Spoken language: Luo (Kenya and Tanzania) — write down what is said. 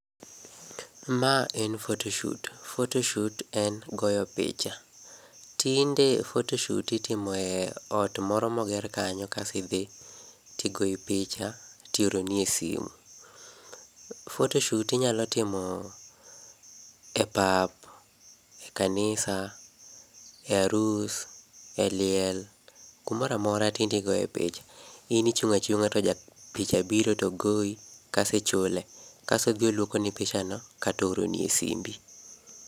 Ma en photoshoot. Photoshoot en goyo picha. Tinde photoshoot itimo e ot moro moger kanyo kas idhi tigoyi picha tioroni e simu. Photoshoot inyalo timo e pap, e kanisa, e arus, e liel, kumoramora tindigoe picha. In ichung'achung'a to japicha biro to goi, kas ichule. Kas odhiolukoni pichano katooroni e simbi.